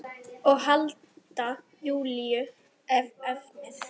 Og halda Júlíu við efnið.